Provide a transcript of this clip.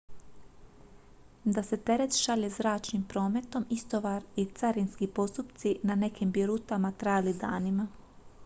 da se teret šalje zračnim prometom istovar i carinski postupci na nekim bi rutama trajali danima